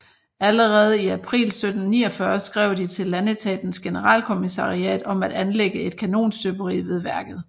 Allerede i april 1749 skrev de til Landetatens Generalkommissariat om at anlægge et kanonstøberi ved værket